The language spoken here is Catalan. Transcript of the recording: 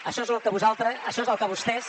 això és lo que vosaltres això és el que vostès